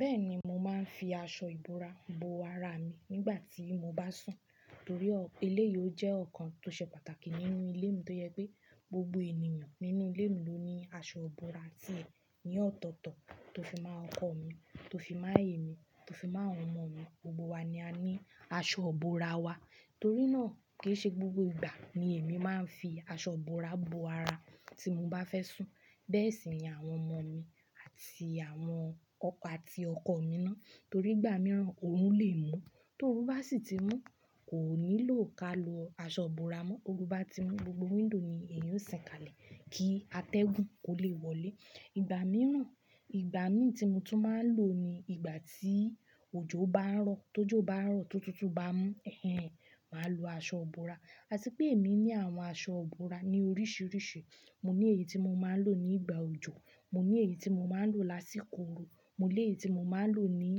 Bẹ́ẹ̀ni, mo máa ń fi aṣọ ìbora bo ara mi nígbà tí mo bá sùn, torí eléyìí ó jẹ́ ọ̀kan tó ṣe pàtàkì nínú ilé mi tó jẹ́ pé, gbogbo ènìyàn nínú ilé mi ló ní àsó ìbora tí è ní ọ̀tọ̀ọ̀tọ̀ tó fi máa ọkọ mi, tó fi máa èmi, tó fi máa àwọn ọmọ mi. Gbogbo wa ni a ní aṣọ ìbora wa. Torí náà, kì í ṣe gbogbo ìgbà ni èmi máa ń fi aṣọ ìbora bo àrá tí mo bá fẹ́ sùn. Bẹ́ẹ̀ sì ni àwọn ọmọ mi àti àwọn ọkọ àti ọkọ mi náà, torí ìgbà mìíràn òrù lè mú tó òrú bá sì ti mú, kò nílò ká lo aṣọ ìbora mọ́. Òrú bá ti mú, gbogbo window ni èyí ó sìn kalẹ̀ kí atẹ́gùn kó lè wọlé. Ìgbà mìíràn, ìgbà mi tí mo tún máa ń lò ni ìgbà tí òjò bá ń ró. Tójò bá rọ̀ tó tutù bá mú, màá lo aṣọ ìbora. À ti pé èmi ní àwọn aṣọ ìbora ní oríṣiríṣi. Mo ní èyí tí mo máa ń lò ní ìgbà òjò, mo ní èyí tí mo máa ń lò lásìkò òru, mo ní èyí tí mo máa ń lò ní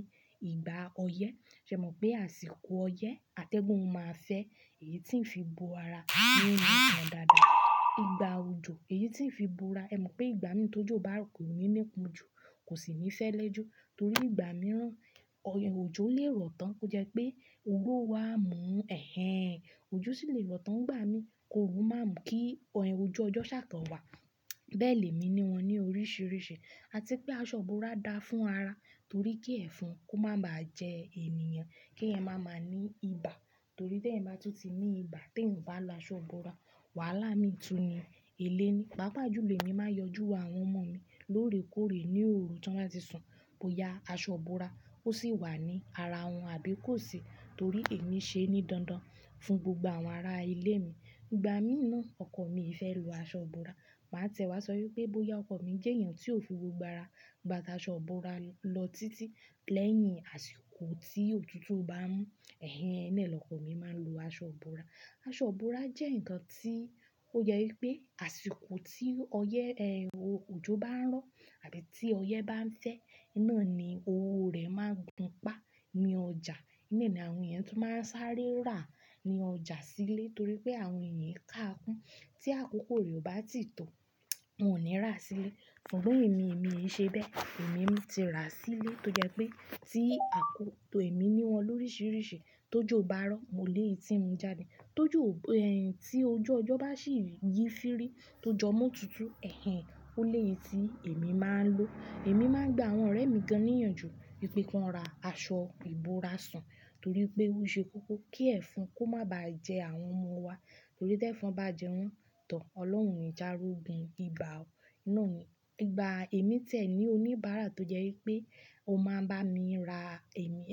ìgbà ọyẹ́. Ṣé ẹ mọ̀ pé àsìkò ọyẹ́, atẹ́gùn máa fẹ́ èyí tí ń fi bo ara, ó máa pọ̀ dàádàá. Ìgbà òjò, èyí tí ń fi bo ara, ẹ mọ̀ pé ìgbà mi tójò bá rọ̀ kò ní ní ipọnjú, kò sì ní fẹ́lé jú, torí ìgbà mìíràn òjò lè rọ̀ tán kó jẹ́ pé òrú ó wa mú òjò sì lè rọ̀ tán nìgbà mi kí òru má mú kí ọ̀jú ọjọ́ ṣà kàn wá. Bẹ́ẹ̀ lèmi ni wọn ní oríṣiríṣi. A ti pé aṣọ ìbora da fún ara, torí kí ẹ̀fọn kó má ba jẹ́ ènìyàn, kí ẹ má máa ní ibà, torí tí ẹ̀yin bá tún ti ní ibà tí ẹ̀ ń bá lo aṣọ ìbora, wàhálà mí tun ni. Eléní, pàápàá jùlọ èmi máa ń yọjú wọ àwọn ọmọ mi lóòrèkóòrè ní òru tí wọ́n bá ti sùn bóyá aṣọ ìbora ó sì wà ní ara wọn àbí kò sì, torí èmi ṣe ní dandan fún gbogbo àwọn ará ilé mi. Ìgbà mí náà ọkọ mi é fẹ́ lo aṣọ ìbora, màá tiẹ̀ wá sọ wípé bóyá ọkọ mi jẹ́ èèyàn tí ó fi gbogbo ara gbà tá aṣọ ìbora lọ títí. Lẹ́yìn àsìkò tí òtútù bá mú nàá l'ọkọ mi máa ń lo aṣọ ìbora. Aṣọ ìbora jẹ́ nǹkan tí ó jẹ́ wípé àsìkò tí ọyẹ́, òjò bá ń rọ̀ àbí tí ọyẹ́ bá ń fẹ́, iná ni owó rẹ̀ máa gùn pá ní ọjà. Òún ná ni àwọn èèyàn tún máa ń sáré rà, ní ọjà sílé torí pé àwọn èèyàn ki ká ikún. Tí àkókò rẹ̀ ò bá ti tọ́, wọn ò ní rà á sílé. Ṣùgbọ́n èmi, èmi í ṣe bẹ́ẹ̀. Èmi ti rà á sílé tó jẹ́ pé tí àkókò èmi ní wọn lóríṣiríṣi tójò bá rọ̀, mo lè tì í mú jáde. Tójò, tí ojú ọjọ́ bá sì yí sí rí tó jọ mú òtútù, ẹ̀hẹ́n ó lèyi tí èmi máa ń lò. Èmi máa ń gbà àwọn ọ̀rẹ́ mi gàn níyànjú wìpẹ́ kàn rá aṣọ ìbora sún torí pé ó ṣe kókó kí ẹ̀fọn kó má ba jẹ àwọn ọmọ wa, torí tí ẹ̀fọn bá jẹ wọ́n tór, Ọlọ́run òni jé á rógun ibà nàá ni. Ìgbà èmi tẹ̀ ní oníbàárà tó jẹ́ wípé ò máa ń bá mi ra èmi,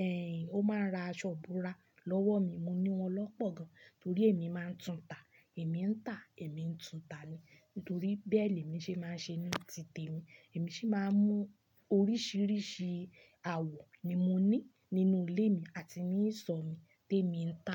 ó máa ń ra aṣọ ìbora lọ́wọ́ mi, mo ní wọn lọ́pọ̀ gan, torí èmi máa ń tún ta, èmi ń tà, èmi ń tún ta ni. Ǹítorí bẹ́ẹ̀ lèmi ṣe máa ń ṣe ní ti tèmi, èmi sì máa ń mú oríṣiríṣi àwọ̀ ni mo ní nínú ilé mi, àti ní ìsọ̀ mi tí èmi ń tà.